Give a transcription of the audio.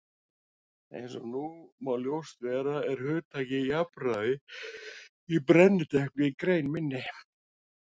Eins og nú má ljóst vera er hugtakið jafnræði í brennidepli í grein minni.